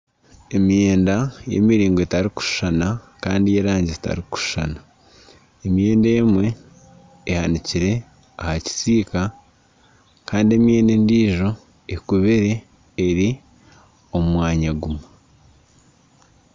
Emyenda y'emiringo etarikushushana kandi ey'erangi zitarikushushana. Emyenda emwe ehanikire aha kisiika, kandi emyenda endiijo ekubire eri omu mwanya gumwe.